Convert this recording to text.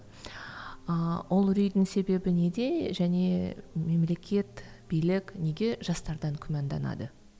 ааа ол үрейдін себебі неде және мемлекет билік неге жастардан күмәнданады